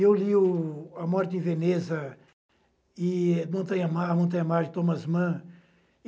Eu li o A Morte em Veneza e Montanha Mar, Montanha Mar de Thomas Mann.